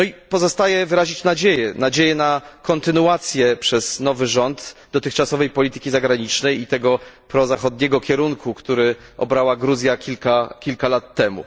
Pozostaje wyrazić nadzieję na kontynuację przez nowy rząd dotychczasowej polityki zagranicznej i tego prozachodniego kierunku, który objęła Gruzja kilka lat temu.